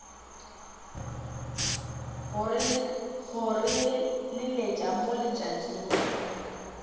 go re leletša mo letšatšing